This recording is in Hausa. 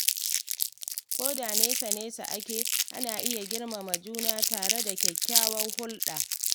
Ko da nesa-nesa ake, ana iya girmama juna tare da kyakkyawar hulɗa.